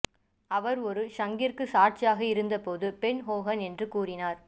அவர் ஒரு ஷங்கிற்கு சாட்சியாக இருந்தபோது பென் ஹோகன் என்ன கூறினார்